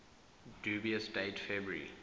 dubious date february